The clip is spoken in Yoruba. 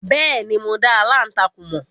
Bẹ́ẹ̀ni, mo dá aláǹtakùn mọ̀.